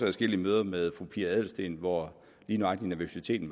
adskillige møder med fru pia adelsteen hvor lige nøjagtig nervøsiteten